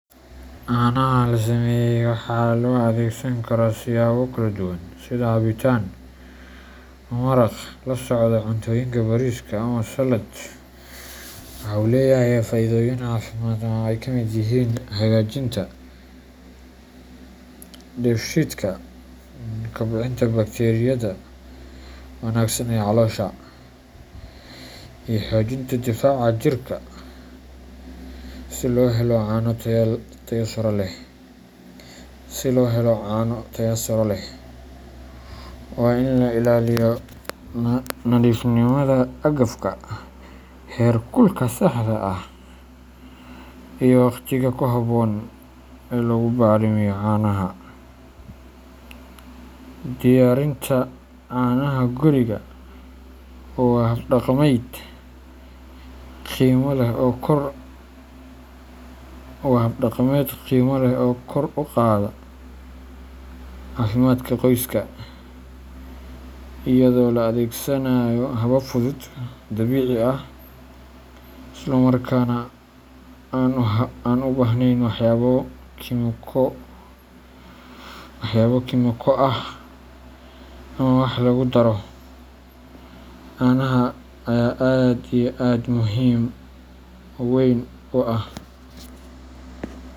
Canaha la sameeyey waxaa loo adeegsan karaa siyaabo kala duwan sida cabitaan, maraq, la socda cuntooyinka bariiska, ama saladh. Waxa uu leeyahay faa’iidooyin caafimaad oo ay ka mid yihiin hagaajinta dheefshiidka, kobcinta bakteeriyada wanaagsan ee caloosha, iyo xoojinta difaaca jirka. Si loo helo cano tayo sare leh, waa in la ilaaliyo nadiifnimada agabka, heerkulka saxda ah, iyo waqtiga ku habboon ee lagu bacrimiyo caanaha. Diyaarinta canaha guriga waa hab dhaqameed qiimo leh oo kor u qaada caafimaadka qoyska iyadoo la adeegsanayo habab fudud, dabiici ah, isla markaana aan u baahnayn waxyaabo kiimiko ah ama wax lagu daro. Canaha ayaa aad iyo aad muhim weyn u ah.